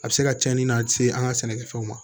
A bɛ se ka cɛnni na se an ka sɛnɛkɛfɛnw ma